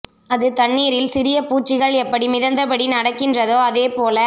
அது தண்ணீரில் சிறிய பூச்சிகள் எப்படி மிதந்தபடி நடக்கின்றதோ அதே போல